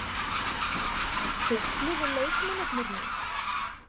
Gúggluðu leikmennirnir mig?